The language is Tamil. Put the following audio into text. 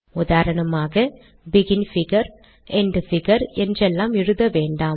உதாரணமாக பெகின் பிகர் எண்ட் பிகர் என்றெல்லாம் எழுத வேன்டாம்